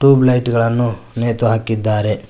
Tube light ಗಳನ್ನು ನೇತು ಹಾಕಿದ್ದಾರೆ.